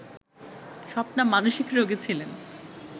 স্বপ্না মানসিক রোগী ছিলেন